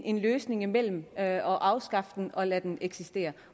en løsning mellem at afskaffe den og at lade den eksistere